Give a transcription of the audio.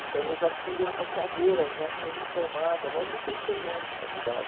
Então, eu já tive essa carreira já sendo formada logo no terceiro ano de faculdade.